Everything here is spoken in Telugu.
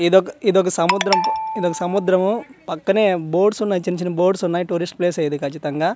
ఇదొక ఇదొక సముద్రం తో ఇదొక సముద్రము పక్కనే బోట్స్ ఉన్నాయ్ చిన్న చిన్న బోట్స్ ఉన్నాయి టూరిస్ట్ ప్లేస్ ఏ ఇది కచ్చితంగా.